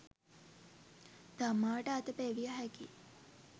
තමාට අත පෙවිය හැකි